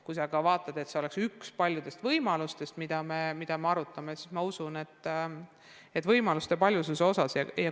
Kui aga võetakse seda, mida me arutame, ühena paljudest võimalustest, siis ma usun, et võimaluste paljusust toetatakse.